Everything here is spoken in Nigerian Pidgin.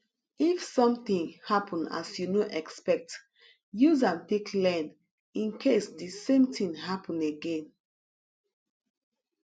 if something happen as you no expect use am take learn in case di same thing happen again